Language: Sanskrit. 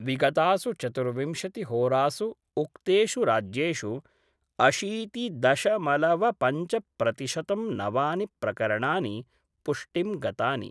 विगतासु चतुर्विंशतिहोरासु उक्तेषु राज्येषु अशीतिदशमलवपंचप्रतिशतं नवानि प्रकरणानि पुष्टिं गतानि।